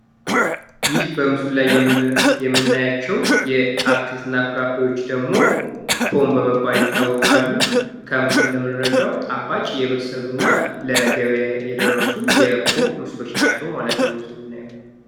ይህ በምስሉ ላይ የምናያቸው የአትክልት እና ፍራፍሬዎች ደግሞ ፖም በመባል ይታወቃሉ። ከምስሉ እንደምንረዳው ጣፋጭ የበሰሉ እና ለገበያ የደረሱ የፖም ምስሎች ናቸው ማለት ነው በምስሉ የምናየው::